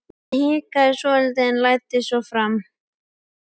Hann hikaði svolítið en læddist svo fram.